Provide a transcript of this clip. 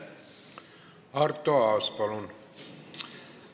Arto Aas, palun!